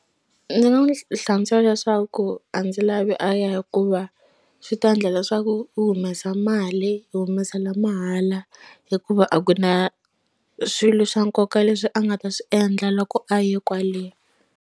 Ndzi nga n'wi hlantswa leswaku a ndzi lavi a ya hikuva swi ta endla leswaku u humesa mali u humesela mahala hikuva a ku na swilo swa nkoka leswi a nga ta swi endla loko a ye kwale.